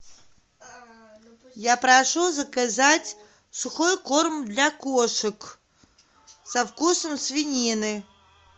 я прошу заказать сухой корм для кошек со вкусом свинины